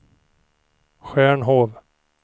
Stjärnhov